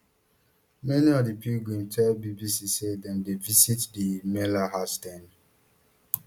many of di pilgrims tell bbc say dem dey visit di mela as dem